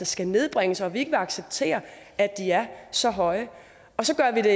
skal nedbringes og at vi ikke vil acceptere at de er så høje så gør vi det